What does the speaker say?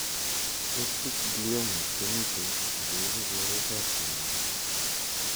Optic gliomas komitei ak ko ipu koret apkonyek